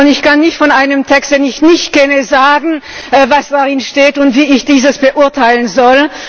Ich kann nicht von einem Text, den ich nicht kenne, sagen, was darin steht und wie ich dies beurteilen soll.